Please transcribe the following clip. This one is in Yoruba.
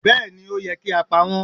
Béèni ó yẹ kí á pa wọ́n